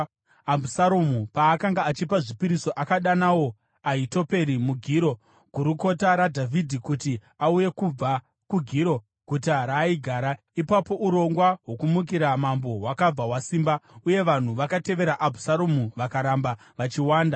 Abhusaromu paakanga achipa zvipiriso akadanawo Ahitoferi muGiro, gurukota raDhavhidhi, kuti auye kubva kuGiro, guta raaigara. Ipapo urongwa hwokumukira mambo hwakabva hwasimba, uye vanhu vakatevera Abhusaromu vakaramba vachiwanda.